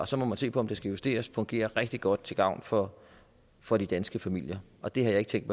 så må man se på om det skal justeres men det fungerer rigtig godt til gavn for for de danske familier og det har jeg ikke tænkt